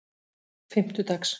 fimmtudags